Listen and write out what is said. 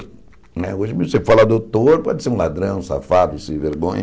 Né hoje você fala doutor, pode ser um ladrão, um safado, um sem vergonha.